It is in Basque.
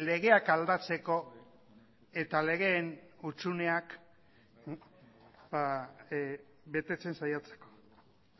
legeak aldatzeko eta legeen hutsuneak betetzen saiatzeko